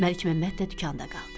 Məlikməmməd də dükanda qaldı.